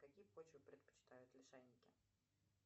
какие почвы предпочитают лишайники